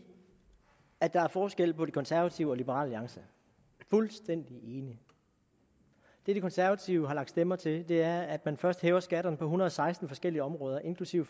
at der er forskel på de konservative og liberal alliance fuldstændig enig det de konservative har lagt stemmer til er at man først hæver skatterne på en hundrede og seksten forskellige områder inklusive